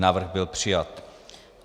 Návrh byl přijat.